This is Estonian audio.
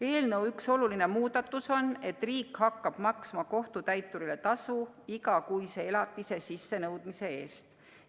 Eelnõu üks olulisi muudatusi on, et riik hakkab maksma kohtutäiturile tasu igakuise elatise sissenõudmise eest.